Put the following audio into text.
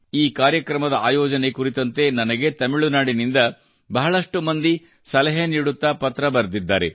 ಈ ಕಾರ್ಯಕ್ರಮದ ಆಯೋಜನೆ ಕುರಿತಂತೆ ನನಗೆ ತಮಿಳುನಾಡಿನಿಂದ ಬಹಳಷ್ಟು ಮಂದಿ ಸಲಹೆ ನೀಡುತ್ತಾ ಪತ್ರ ಬರೆದಿದ್ದಾರೆ